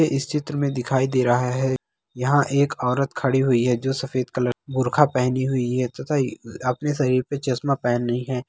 ये इस चित्र में दिखाई दे रहा है यहाँ एक औरत खड़ी हुई है जो सफ़ेद कलर का बुरखा पेहनी हुई है तथा अपने शरीर पे चश्मा पेहनी है।